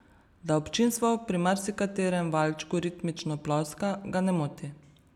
Da občinstvo pri marsikaterem valčku ritmično ploska, ga ne moti.